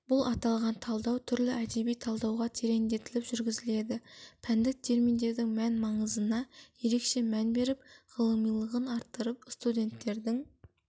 бұл аталған талдау түрлі әдеби талдауда тереңдетіліп жүргізіледі пәндік терминдердің мән-маңызына ерекше мән беріп ғылымилығын арттырып студенттердің